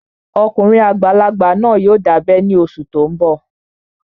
Ọkùnrin àgbàlagbà náà yóò dábẹ́ ní oṣù tó n bọ̀